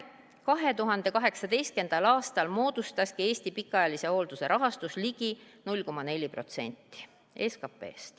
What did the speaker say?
2018. aastal moodustaski Eesti pikaajalise hoolduse rahastus ligi 0,4% SKP-st.